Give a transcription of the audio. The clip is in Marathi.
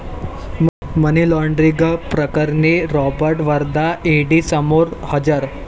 मनी लॉण्ड्रिंगप्रकरणी रॉबर्ट वड्रा ईडीसमोर हजर